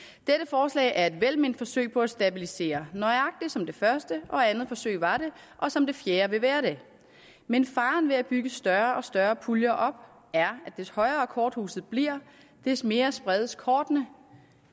forslag er et velment forsøg på at stabilisere nøjagtig som det første og andet forsøg var det og som det fjerde vil være det men faren ved at bygge større og større puljer op er at des højere korthuset bliver des mere spredes kortene